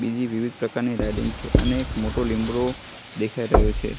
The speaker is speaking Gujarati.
બીજી વિવિધ પ્રકારની રેલીંગ છે અને એક મોટો લીમડો દેખાય રહ્યો છે.